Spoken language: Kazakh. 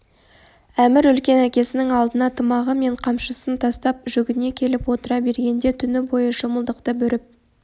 әмір үлкен әкесінің алдына тымағы мен қамшысын тастап жүгіне келіп отыра бергенде түні бойы шымылдықты бүріп